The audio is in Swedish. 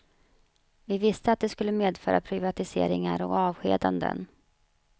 Vi visste, att det skulle medföra privatiseringar och avskedanden.